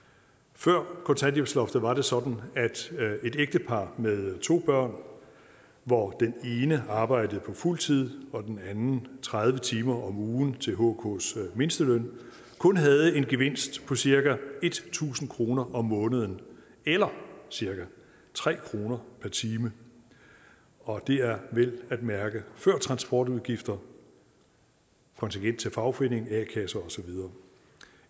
før kontanthjælpsloftet var det sådan at et ægtepar med to børn hvor den ene arbejdede på fuld tid og den anden tredive timer om ugen til hks mindsteløn kun havde en gevinst på cirka tusind kroner om måneden eller cirka tre kroner per time og det er vel at mærke før transportudgifter kontingent til fagforening a kasse og så videre